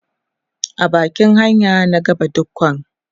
a bakin hanya na ga badikon